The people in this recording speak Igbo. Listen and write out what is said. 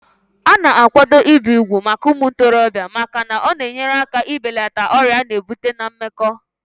Ana akwado ibi ùgwù màkà umuntorobia màkà na ọ na enyere aka i belata ọrịa ana ebute na mmekọ.